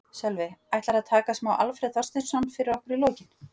Sölvi: Ætlarðu að taka smá Alfreð Þorsteinsson fyrir okkur í lokin?